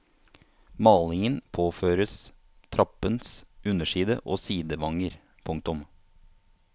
Malingen påføres trappens underside og sidevanger. punktum